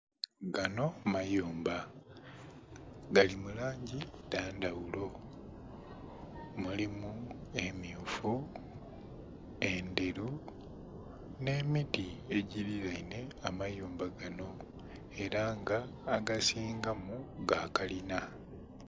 Ganho mayumba gali mulangi edhe ndhaghulo mulimu emmyufu, endhelu nhe miti egili lenhe amayumba ganho era nga agasinga mu gakalinha